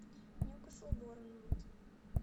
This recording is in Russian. ньюкасл борнмут